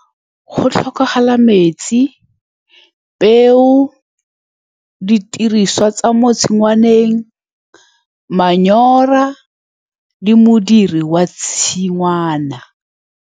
Go tlhokagala metsi, peo, didiriswa tsa mo tshingwaneng, manure, le modiri wa tshingwana.